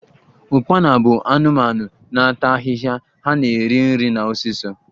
Ukpana bụ anụmanụ na ata ahịhịa, ha na-eri nri na osisi